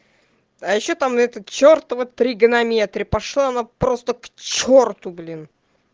а ещё там этот чертов тригонометрии пошла она просто к черту блин